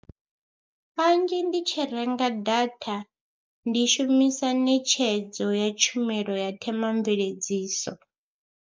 Kanzhi ndi tshi renga data ndi shumisa ṋetshedzo ya tshumelo ya themamveledziso.